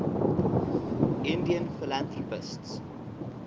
indian philanthropists